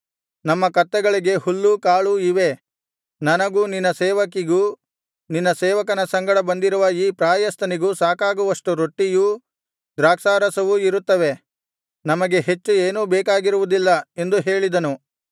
ನಮ್ಮ ಕತ್ತೆಗಳಿಗೆ ಹುಲ್ಲೂ ಕಾಳೂ ಇವೆ ನನಗೂ ನಿನ್ನ ಸೇವಕಿಗೂ ನಿನ್ನ ಸೇವಕನ ಸಂಗಡ ಬಂದಿರುವ ಈ ಪ್ರಾಯಸ್ಥನಿಗೂ ಸಾಕಾಗುವಷ್ಟು ರೊಟ್ಟಿಯೂ ದ್ರಾಕ್ಷಾರಸವೂ ಇರುತ್ತವೆ ನಮಗೆ ಹೆಚ್ಚು ಏನೂ ಬೇಕಾಗಿರುವುದಿಲ್ಲ ಎಂದು ಹೇಳಿದನು